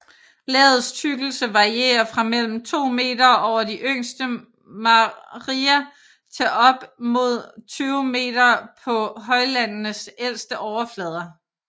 Lagets tykkelse varierer fra mellem 2 meter over de yngste maria til op mod 20 meter på højlandenes ældste overflader